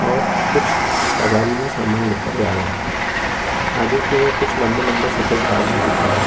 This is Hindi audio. और कुछ गाडी में सामान लेकर जा रहे है आगे की ओर कुछ लंबे-लंबे सफेद बाज़ भी दिख रहे है।